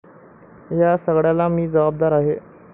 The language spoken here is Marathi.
या सगळ्याला मी जबाबदार आहे.